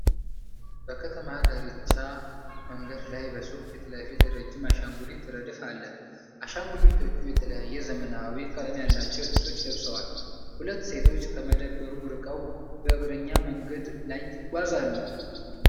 በከተማ ዳርቻ መንገድ ላይ በሱቅ ፊት ለፊት ረጅም አሻንጉሊት ረድፍ አለ። አሻንጉሊቶቹ የተለያዩ ዘመናዊ ቀለም ያላቸው ልብሶችን ለብሰዋል። ሁለት ሴቶች ከመደብሩ ርቀው በእግረኛ መንገድ ላይ ይጓዛሉ።